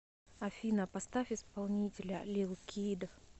афина поставь исполнителя лил кид